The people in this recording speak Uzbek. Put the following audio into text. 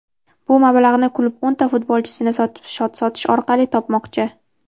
bu mablag‘ni klub o‘nta futbolchisini sotish orqali topmoqchi.